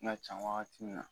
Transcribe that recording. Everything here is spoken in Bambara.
N cɛn wagati min na